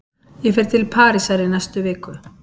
Ég fer til Parísar í næstu viku.